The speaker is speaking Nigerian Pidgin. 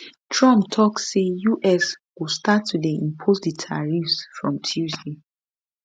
trump tok say us go start to dey impose di tariffs from tuesday